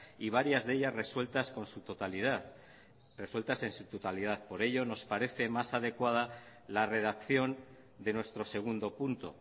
y varias de ellas resueltas por su totalidad resueltas en su totalidad por ello nos parece más adecuada la redacción de nuestro segundo punto